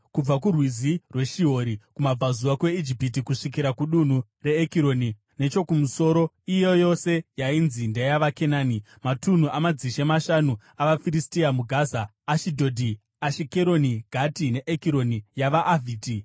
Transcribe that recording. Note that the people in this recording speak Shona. “Kubva kuRwizi rweShihori kumabvazuva kweIjipiti, kusvikira kudunhu reEkironi nechokumusoro, iyo yose yainzi ndeyavaKenani (matunhu amadzishe mashanu avaFiristia muGaza, Ashidhodhi, Ashikeroni, Gati, neEkironi yavaAvhiti);